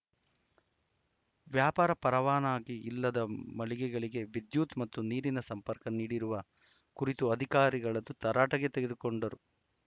ವ್ಯಾಪಾರ ಪರವಾನಗಿ ಇಲ್ಲದ ಮಳಿಗೆಗಳಿಗೆ ವಿದ್ಯುತ್‌ ಮತ್ತು ನೀರಿನ ಸಂಪರ್ಕ ನೀಡಿರುವ ಕುರಿತು ಅಧಿಕಾರಿಗಳ ತರಾಟೆಗೆ ತೆಗೆದುಕೊಂಡರು